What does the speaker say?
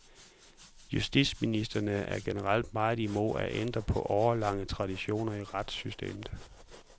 Justitsministrene er generelt meget imod at ændre på årelange traditioner i retssystemet.